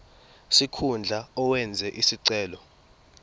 sikhundla owenze isicelo